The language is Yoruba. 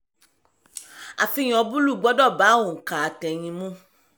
àfihàn búlù gbọ́dọ̀ bá ònkà àtẹ̀yìn mu.